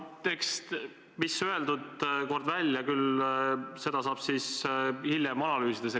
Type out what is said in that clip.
Jah, no mis kord on välja öeldud, eks seda saab siis hiljem analüüsida.